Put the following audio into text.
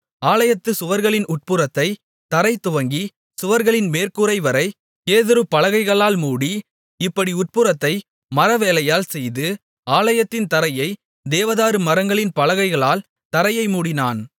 ஆலயத்துச் சுவர்களின் உட்புறத்தை தரை துவங்கி சுவர்களின் மேற்கூரைவரை கேதுரு பலகைகளால் மூடி இப்படி உட்புறத்தை மரவேலையால் செய்து ஆலயத்தின் தரையை தேவதாரு மரங்களின் பலகைகளால் தரையை மூடினான்